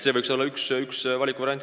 See võiks olla üks valikuvariant.